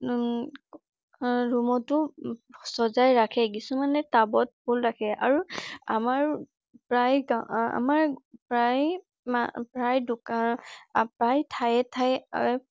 উম আহ ৰুমতো সঁজাই ৰাখে । কিছুমানে তাবত ফুল ৰাখে। আৰু আমাৰ প্ৰায় আমাৰ ‌প্ৰায় ঠাইয়ে ঠাইয়ে